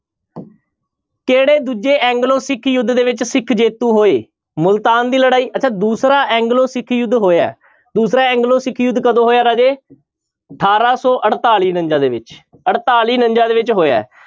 ਕਿਹੜੇ ਦੂਜੇ ਐਗਲੋ ਸਿੱਖ ਯੁੱਧ ਦੇ ਵਿੱਚ ਸਿੱਖ ਜੇਤੂ ਹੋਏ, ਮੁਲਤਾਨ ਦੀ ਲੜਾਈ ਅੱਛਾ ਦੂਸਰਾ ਐਗਲੋ ਸਿੱਖ ਯੁੱਧ ਹੋਇਆ ਹੈ ਦੂਸਰਾ ਐਗਲੋ ਸਿੱਖ ਯੁੱਧ ਕਦੋਂ ਹੋਇਆ ਰਾਜੇ ਅਠਾਰਾਂ ਸੌ ਅੜਤਾਲੀ ਉਣੰਜਾ ਦੇ ਵਿੱਚ ਅੜਤਾਲੀ ਉਣੰਜਾ ਦੇ ਵਿੱਚ ਹੋਇਆ ਹੈ।